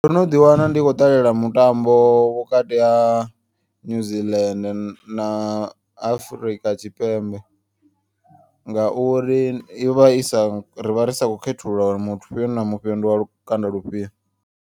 Ndo no ḓiwana ndi khou ṱalela mutambo vhukati ha New Zealand na Afurika Tshipembe. Ngauri yovha isa rivha ri sa kho khethulula uri mufhio na mufhio ndi wa lukanda lufhio.